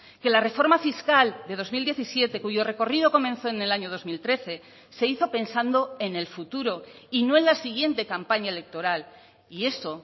que la reforma fiscal de dos mil diecisiete cuyo recorrido comenzó en el año dos mil trece se hizo pensando en el futuro y no en la siguiente campaña electoral y eso